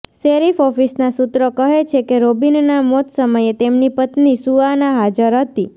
sheriff ઓફિસના સૂત્રો કહે છેકે રોબીનના મોત સમયે તેમની પત્ની સુઆન હાજર હતી